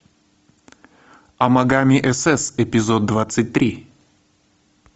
амагами сс эпизод двадцать три